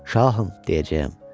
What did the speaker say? Şahım, deyəcəyəm.